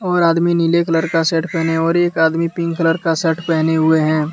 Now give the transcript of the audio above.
और आदमी नीले कलर का शर्ट पहने और एक आदमी पिंक कलर का शर्ट पहने हुए हैं।